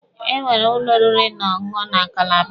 Enwere ụlọ oriri na ọṅụṅụ na Kalaba.